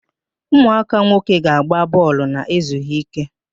Ụmụaka nwoke ga-agba bọọlụ na-ezughi ike.